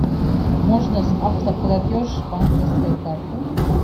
можно с автоплатеж банковской карты